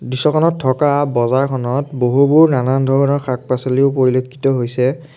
দৃশ্যখনত থকা বজাৰখনত বহুবোৰ নানান ধৰণৰ শাক-পাছলিও পৰিলক্ষিত হৈছে।